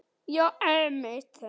Já, einmitt þau!